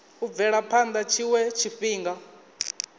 u bvela phana tshiwe tshifhinga